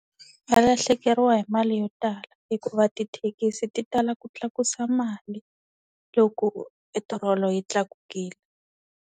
Va lahlekeriwa hi mali yo tala, hikuva tithekisi ti tala ku tlakusa mali loko petrol yi tlakukile.